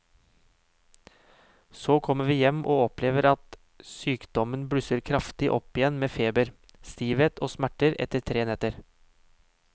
Så kommer vi hjem og opplever at sykdommen blusser kraftig opp igjen med feber, stivhet og smerter etter tre netter.